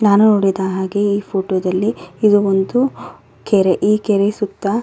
ನಾನು ನೋಡಿದ ಹಾಗೆ ಈ ಫೋಟೋ ದಲ್ಲಿ ಇದು ಒಂದು ಕೆರೆ ಈ ಕೆರೆ ಸುತ್ತ.